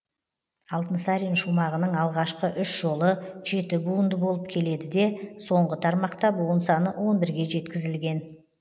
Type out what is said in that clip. алтынсарин шумағының алғашқы үш жолы жеті буынды болып келеді де соңғы тармақта буын саны он бірге жеткізілген